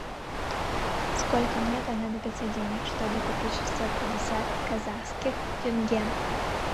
сколько мне понадобится денег чтобы купить шестьсот пятьдесят казахских тенге